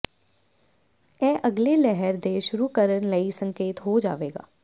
ਇਹ ਅਗਲੇ ਲਹਿਰ ਦੇ ਸ਼ੁਰੂ ਕਰਨ ਲਈ ਸੰਕੇਤ ਹੋ ਜਾਵੇਗਾ